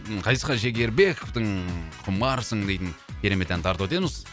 ғазизхан шекербековтың құмарсың дейтін керемет әнін тарту етеміз